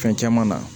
Fɛn caman na